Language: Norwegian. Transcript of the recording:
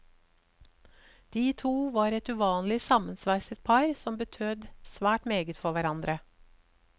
De to var et uvanlig sammensveiset par, som betød svært meget for hverandre.